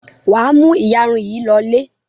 Wà á mú ìyarun yìí lọlé.